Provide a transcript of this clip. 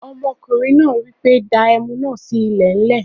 Ọmọkùnrin náà wípé 'Dáa Ẹmu náà sì ilẹ̀ lẹ.